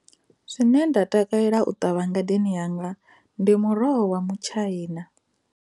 Zwine nda takalela u ṱavha ngadeni yanga ndi muroho wa mutshaina.